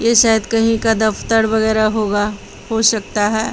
ये शायद कहीं का दफ्तर वगैरह होगा हो सकता है।